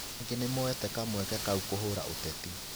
Angĩ nao nimoete kamweke kau kũhũra ũteti